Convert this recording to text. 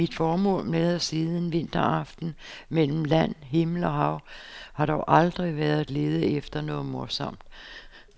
Mit formål med at sidde en vinteraften mellem land, himmel og hav har dog aldrig været at lede efter noget morsomt.